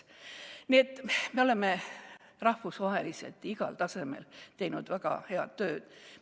Nii et me oleme rahvusvaheliselt igal tasemel teinud väga head tööd.